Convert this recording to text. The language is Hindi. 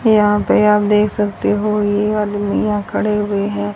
यहां पे आप देख सकते हो ये आलमिया खड़े हुए हैं।